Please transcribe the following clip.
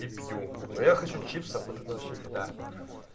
и пью но я хочу чипсов вот это вообще беда